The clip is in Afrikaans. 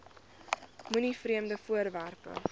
moenie vreemde voorwerpe